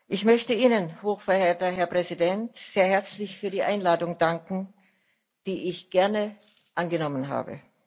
Ich möchte Ihnen, hochverehrter Herr Präsident, sehr herzlich für die Einladung danken, die ich gerne angenommen habe.